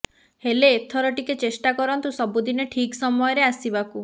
ହେଲେ ଏଥର ଟିକେ ଚେଷ୍ଟା କରନ୍ତୁ ସବୁଦିନେ ଠିକ୍ ସମୟରେ ଆସିବାକୁ